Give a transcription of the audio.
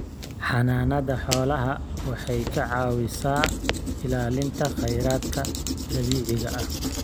Xanaanada xoolaha waxay ka caawisaa ilaalinta kheyraadka dabiiciga ah.